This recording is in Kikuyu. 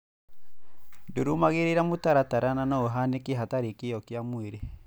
ndũrũmagĩrĩra mũtaratara na no ũhanĩke hatarĩ kĩo kĩa mwĩrĩ.